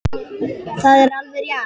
Það er alveg rétt.